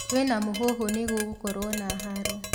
Kwĩna mũhuhu nĩgũgũkorwo na haro